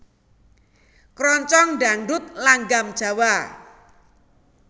Krongcong Dangdut langgam Jawa